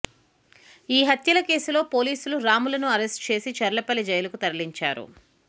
ఈ హత్యల కేసులో పోలీసులు రాములను అరెస్టు చేసి చర్లపల్లి జైలుకు తరలించారు